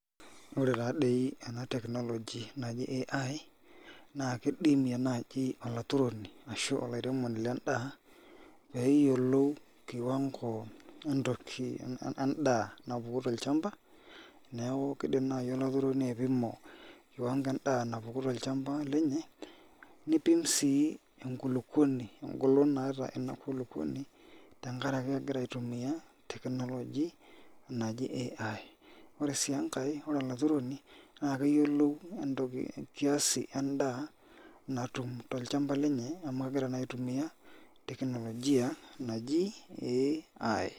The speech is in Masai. Ore taadei ena technology naji AI na kidimi naji olaturoni ashu olaremoni lendaa peyiolou kiwango entoki endaa napuku tolchamba, neaku kindim nai olaturoni aipimo kiwango endaa napuku tolchamba lenye nipim si enkulukuoni engolo naata enakulukuoni tenkaraki egira aitumia technology naji AI, ore si enkae ore olaturoni nakayiolou entokib kiasi endaa natum tolchamba lenye amu kegira na aitumia technologia naji AI